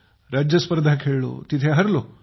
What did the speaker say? राज्य स्पर्धा खेळलो तिथे हरलो